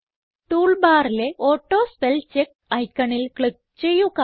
tool ബാറിലെ auto spell check ഐക്കണിൽ click ചെയ്യുക